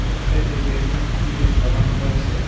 এক সাইডে বেলুন দিয়ে সাজানো রয়েসে।